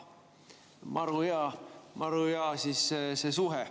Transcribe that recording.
Maru hea suhe siis!